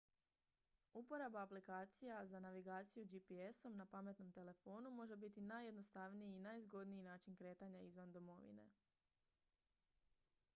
uporaba aplikacija za navigaciju gps-om na pametnom telefonu može biti najjednostavniji i najzgodniji način kretanja izvan domovine